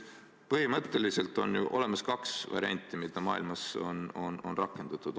Põhimõtteliselt on ju olemas kaks varianti, mida maailmas on rakendatud.